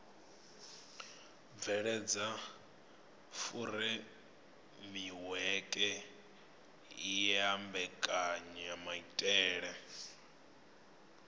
bveledza furemiweke ya mbekanyamaitele a